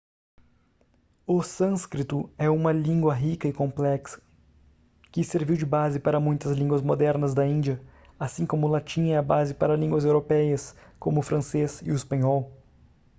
o sânscrito é uma língua rica e complexa que serviu de base para muitas línguas modernas da índia assim como o latim é a base para línguas europeias como o francês e o espanhol